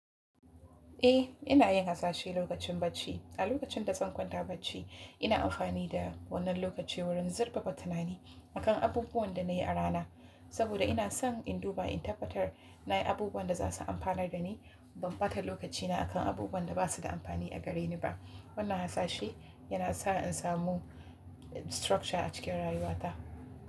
Eh, ina yin hasashe lokacin bacci. A lokacin da zan kwanta bacci, ina amfani da wannan lokaci wurin zirfafa tunani akan abubuwan da na yi a rana, saboda ina son in duba in tabbatar na yi abubuwan da za su amfanar da ni, ban bata lokacina akan abubuwan da ba su da amfani a gare ni ba. Wannan hasashe yana sa in samu structure a cikin rayuwata.